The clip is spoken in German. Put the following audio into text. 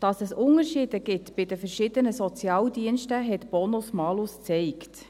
Dass es Unterschiede gibt bei den verschiedenen Sozialdiensten, hat Bonus-Malus gezeigt.